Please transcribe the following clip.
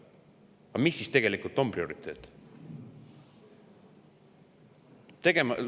Aga mis siis tegelikult on prioriteet?